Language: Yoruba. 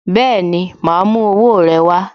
Bẹẹni, ma a mú owó rẹ wá